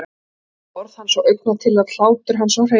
Ég rifjaði upp orð hans og augnatillit, hlátur hans og hreyfingar.